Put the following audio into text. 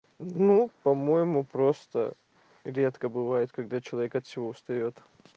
ну по-моему просто редко бывает когда человек от всего устаёт